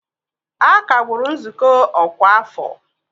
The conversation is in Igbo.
A kagburu nzukọ ọkwa afọ